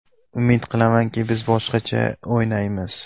Umid qilamanki, biz boshqacha o‘ynaymiz.